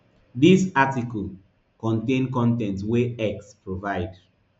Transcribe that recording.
dis article contain con ten t wey x provide